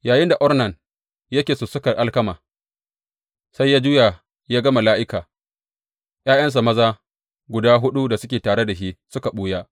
Yayinda Ornan yake sussukar alkama, sai ya juya ya ga mala’ika; ’ya’yansa maza guda huɗu da suke tare da shi suka ɓuya.